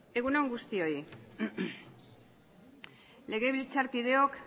egun on guztioi legebiltzarkideok